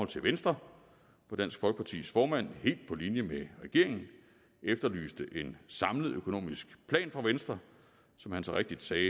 til venstre hvor dansk folkepartis formand helt på linje med regeringen efterlyste en samlet økonomisk plan fra venstre som han så rigtigt sagde